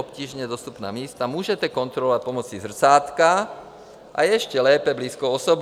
Obtížně dostupná místa můžete kontrolovat pomocí zrcátka, a ještě lépe blízkou osobou.